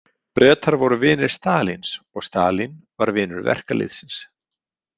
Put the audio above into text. Bretar voru vinir Stalíns og Stalín var vinur verkalýðsins.